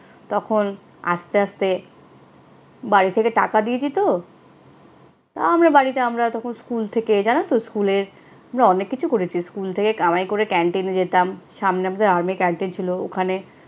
তখন আস্তে আস্তে বাড়ি থেকে টাকা দিয়ে দিতো। তাও আমরা বাড়িতে, আমরা তখন স্কুল থেকে, জানো তো, স্কুলের আমরা অনেক কিছু করেছি। স্কুল থেকে কামাই করে ক্যান্টিনে যেতাম। সামনে আমাদের আর্মি ক্যান্টিন ছিল ওখানে